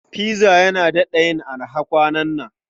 Pizza yana daɗa yin araha kwanan nan.